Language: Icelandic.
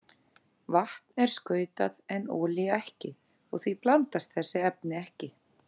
Vatn er skautað en olía ekki og því blandast þessi efni ekki.